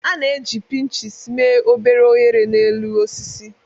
A na-eji pinches mee obere oghere n'elu osisi.